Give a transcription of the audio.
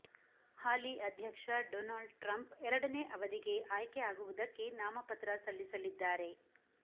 ಹಾಲಿ ಅಧ್ಯಕ್ಷ Donald Trump ಎರಡನೇ ಅವಧಿಗೆ ಆಯ್ಕೆ ಆಗುವುದಕ್ಕೆ ನಾಮಪತ್ರ ಸಲ್ಲಿಸಲಿದ್ದಾರೆ